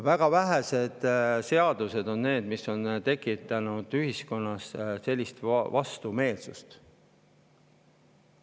Väga vähesed seadused on tekitanud ühiskonnas sellist vastumeelsust.